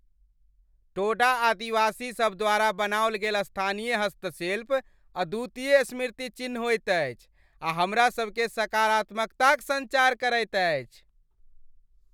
टोडा आदिवासीसभ द्वारा बनाओल गेल स्थानीय हस्तशिल्प अद्वितीय स्मृति चिन्ह होइत अछि आ हमरा सभमे सकारात्मकताक सञ्चार करैत अछि।